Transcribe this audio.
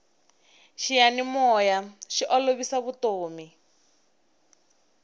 xiyanimoya xi olovisa vutomi